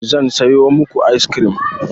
Zan sayo muku ice cream.